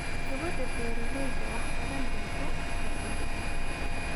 Gabadha beeralayda wax badan bay ku kordhisaa.